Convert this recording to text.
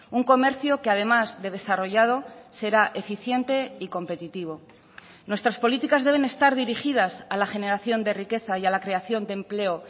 un comercio que además de desarrollado será eficiente y competitivo nuestras políticas deben estar dirigidas a la generación de riqueza y a la creación de empleo